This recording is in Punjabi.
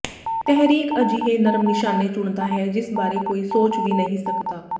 ਤਹਿਰੀਕ ਅਜਿਹੇ ਨਰਮ ਨਿਸ਼ਾਨੇ ਚੁਣਦਾ ਹੈ ਜਿਸ ਬਾਰੇ ਕੋਈ ਸੋਚ ਵੀ ਨਹੀਂ ਸਕਦਾ